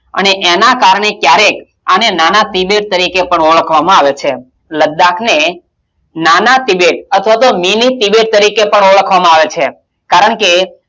અને એનાં કારણે ક્યારેક આને નાના ત્રિબેટ તરીકે પણ ઓળખવામાં આવે છે લદ્દાકને નાના ત્રિબેટ અથવા તો mini ત્રિબેટ તરીકે પણ ઓળખવામાં આવે છે. કારણ કે,